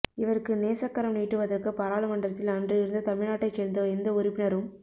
இவருக்கு நேசக்கரம் நீட்டுவதற்கு பாராளுமன்றத்தில் அன்று இருந்த தமிழ்நாட்டைச் சேர்ந்த எந்த உறுப்பினரும்